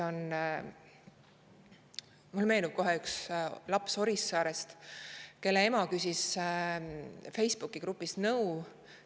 Mulle meenub kohe üks laps Orissaarest, kelle ema küsis Facebooki grupis nõu.